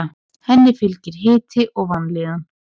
Henni fylgir hiti og vanlíðan.